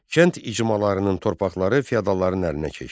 Kənd icmalarının torpaqları feodalların əlinə keçdi.